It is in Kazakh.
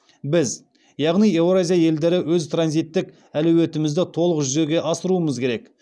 біз яғни еуразия елдері өз транзиттік әлеуетімізді толық жүзеге асыруымыз керек